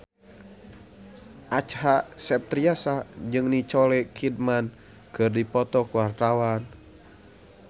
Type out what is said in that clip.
Acha Septriasa jeung Nicole Kidman keur dipoto ku wartawan